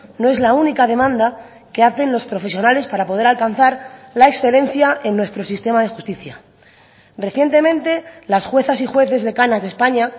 no es la única demanda que hacen los profesionales para poder alcanzar la excelencia en nuestro sistema de justicia recientemente las juezas y jueces decanas de españa